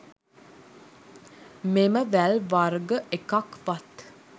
මෙම වැල් වර්ග එකක් වත්